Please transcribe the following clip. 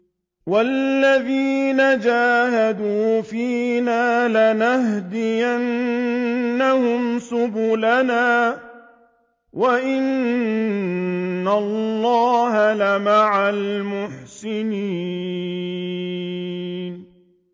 وَالَّذِينَ جَاهَدُوا فِينَا لَنَهْدِيَنَّهُمْ سُبُلَنَا ۚ وَإِنَّ اللَّهَ لَمَعَ الْمُحْسِنِينَ